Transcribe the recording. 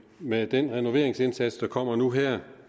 med den renoveringsindsats der kommer nu her